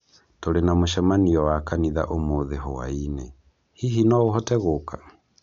Tũrĩ na mũcemanio wa kanitha ũmũthĩ hwaĩinĩ, hihi no ũhote gũka